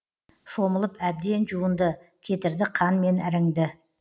шомылып әбден жуынды кетірді қан мен іріңді